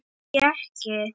Hví ekki?